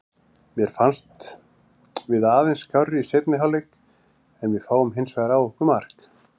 Mér fannst við aðeins skárri í seinni hálfleik en fáum hinsvegar á okkur mark.